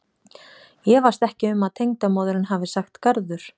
Ég efast ekki um að tengdamóðirin hafi sagt garður.